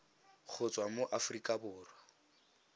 go tswa mo aforika borwa